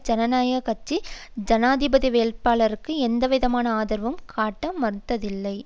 ஜனநாயக கட்சி ஜனாதிபதி வேட்பாளருக்கு எந்தவிதமான ஆதரவும் காட்ட மறுத்ததில்லை